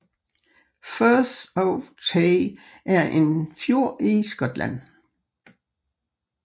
Firth of Tay er en fjord i Skotland